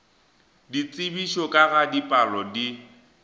ditsebišo ka ga dipalo di